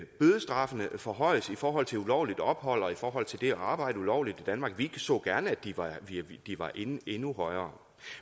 bødestraffene forhøjes i forhold til ulovligt ophold og i forhold til det at arbejde ulovligt i danmark vi så gerne at de var endnu højere